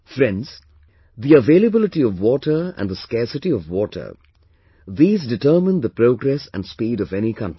Friends, the availability of water and the scarcity of water, these determine the progress and speed of any country